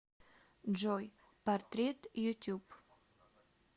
джой портрет ютюб